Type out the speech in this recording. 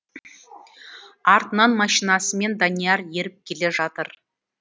артынан машинасымен данияр еріп келе жатыр